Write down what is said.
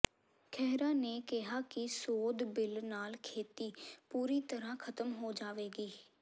ਖਹਿਰਾ ਨੇ ਕਿਹਾ ਕਿ ਸੋਧ ਬਿੱਲ ਨਾਲ ਖੇਤੀ ਪੂਰੀ ਤਰ੍ਹਾਂ ਖਤਮ ਹੋ ਜਾਵੇਗੀ